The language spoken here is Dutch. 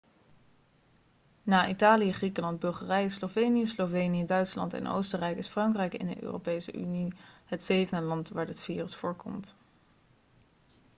na italië griekenland bulgarije slovenië slovenië duitsland en oostenrijk is frankrijk in de europese unie het zevende land waar dit virus voorkomt